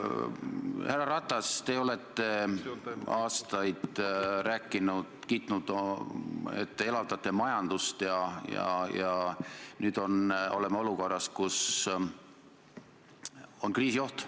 Härra Ratas, te olete aastaid kiitnud, et te elavdate majandust, ja nüüd oleme olukorras, kus on kriisioht.